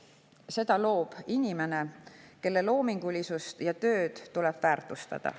Seda loob inimene, kelle loomingulisust ja tööd tuleb väärtustada.